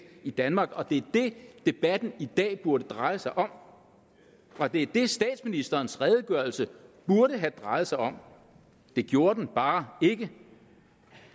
i danmark og det er det debatten i dag burde dreje sig om det er det statsministerens redegørelse burde have drejet sig om det gjorde den bare ikke